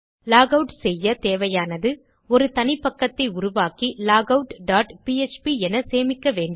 lock out செய்ய தேவையானது ஒரு தனிப்பக்கத்தை உருவாக்கி லாகவுட் டாட் பிஎச்பி என சேமிக்க வேண்டும்